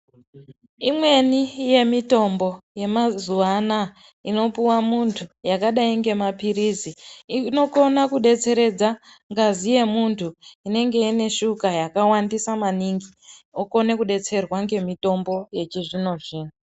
Imweni yemitombo yemazuwa anaa inopuwa muntu yakadai ngemapilizi inokona kudetseredza ngazi yemuntu inenge ine shuka yakawandisa maningi okone kudetserwa ngemutombo yechizvino-zvino.